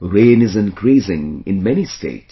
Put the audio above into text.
Rain is increasing in many states